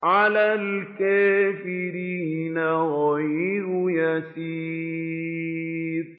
عَلَى الْكَافِرِينَ غَيْرُ يَسِيرٍ